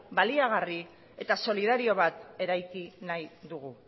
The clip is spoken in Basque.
baliagarri eta solidario bat eraiki nahi dugu